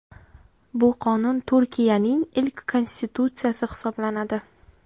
Bu qonun Turkiayning ilk konstitutsiyasi hisoblanadi.